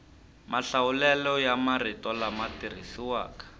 mahlawulelo ya marito lama tirhisiwaka